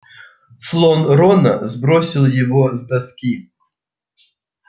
слон рона сбросил его с доски